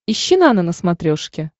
ищи нано на смотрешке